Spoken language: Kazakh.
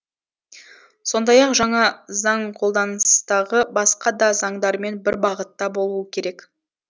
сондай ақ жаңа заң қолданыстағы басқа да заңдармен бір бағытта болуы керек